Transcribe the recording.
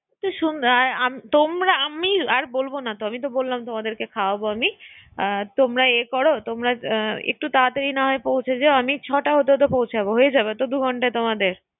তোমরা আমি আর বলবো না তো আমি তো বললাম তোমাদেরকে খাওয়াবো আমি তোমরা এ করো তোমরা একটু তাড়াতাড়ি না হয় পৌঁছে যেও আমি ছটা হতে হতে পৌঁছে যাবো, হয়ে যাবে তো দু ঘন্টায় তোমাদের